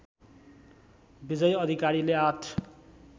विजयी अधिकारीले ८